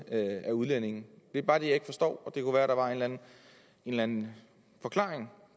af udlændinge det er bare det jeg ikke forstår og det kunne være der var en eller en forklaring